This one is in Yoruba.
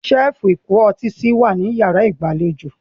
Ṣẹ́ẹ́fù ìkó ọtí si wà ní yàrá ìgbàlejò.